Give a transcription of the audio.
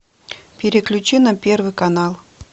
переключи на первый канал